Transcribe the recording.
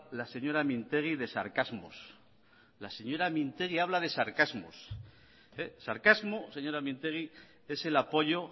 la señora mintegi de sarcasmos la señora mintegi habla de sarcasmos sarcasmo señora mintegi es el apoyo